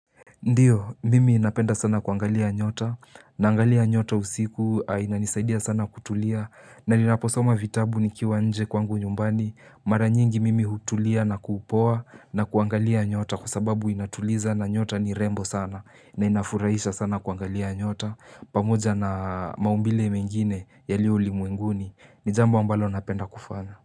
Ndiyo, mimi inapenda sana kuangalia nyota, naangalia nyota usiku, na inisaidia sana kutulia, na ninaposoma vitabu nikiwa nje kwangu nyumbani, mara nyingi mimi hutulia na kuupoa na kuangalia nyota kwa sababu inatuliza na nyota ni rembo sana, na inafurahisha sana kuangalia nyota, pamoja na maumbile mengine yaliyo ulimwenguni, ni jambu ambalo napenda kufana.